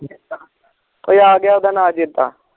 ਉਹ ਆ ਗਿਆ ਉਡਾਣਾਂ ਚੇਤਾ